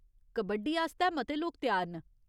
कबड्डी आस्तै मते लोक त्यार न।